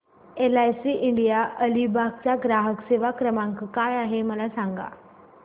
LIC India Alibag चा ग्राहक सेवा क्रमांक काय आहे मला सांगा